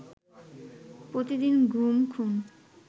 প্রতিদিন গুম, খুন